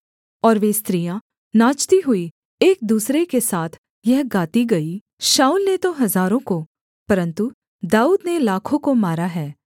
और वे स्त्रियाँ नाचती हुई एक दूसरे के साथ यह गाती गईं शाऊल ने तो हजारों को परन्तु दाऊद ने लाखों को मारा है